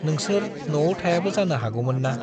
"नोंसोर न'आव थायाबो जानो हागौमोन्ना। "